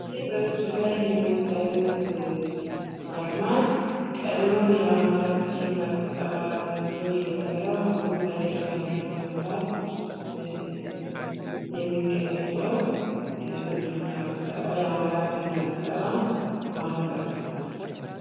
ይህ በምስሉ ላይ የምታዩት አርማ ቀድሞ የአማራ ብድር እና ቁጠባ ተቋም ተብሎ የነበረው አሁን ጸደይ ባንክ በመባል የሚገለጸው የብድርና ቁጠባ የአማራ ብድርና ቁጠባ ማህበር ነው።